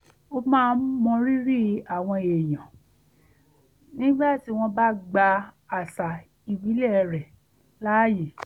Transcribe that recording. ó máa ń mọrírì àwọn èèyàn nígbà tí wọ́n bá gba àṣà ìbílẹ̀ rẹ̀ láyè